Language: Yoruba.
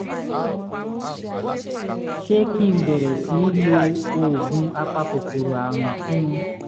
ṣé kí n bẹ̀rẹ̀ sí í lo oògùn apakòkòrò àrùn fún un?